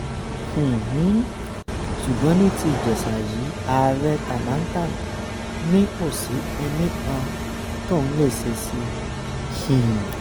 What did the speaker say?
um ṣùgbọ́n ní ti ìjèṣà yìí ààrẹ támántán ni kò sí kinní kan tóun lè ṣe sí i um